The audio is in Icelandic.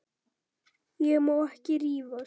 Ég má ekki rífast.